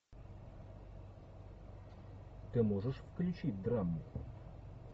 ты можешь включить драму